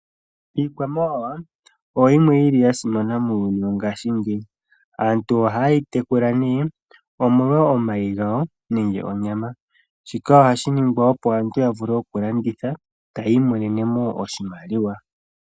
Iikwamawawa oyo yimwe yasimana muuyuni wo ngaashi ngeyi. Aantu oha ye yi tekula omolwo omayi gawo nenge onyama. Shika oha shiningwa opo aantu yavule oku landitha, eya yi imonenemo oshimaliwa.